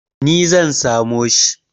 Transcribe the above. Ni zan samo shi.